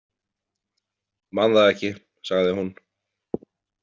Man það ekki, sagði hún.